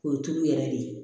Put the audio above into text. K'o tulu yɛrɛ de ye